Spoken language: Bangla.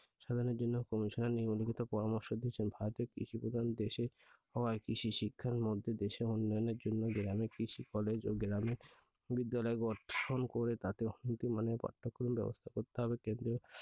সাধনের জন্য commission এর নিম্নলিখিত পরামর্শ দিয়েছেন। ভারতের কৃষি প্রধান দেশ হওয়ায় কৃষি শিক্ষার মধ্যে দেশের উন্নয়নের জন্য গ্রামে কৃষি college ও গ্রামে বিদ্যালয় গঠন করে তাতে উন্নতমানের পাঠ্যক্রম ব্যবস্থা করতে হবে। কেন্দ্রীয়